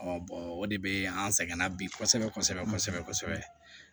o de be an sɛgɛnna bi kosɛbɛ kosɛbɛ kosɛbɛ kosɛbɛ kosɛbɛ